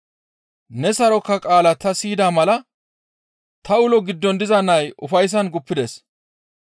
Ne saroka qaala ta siyida mala ta ulo giddon diza nay ufayssan guppides.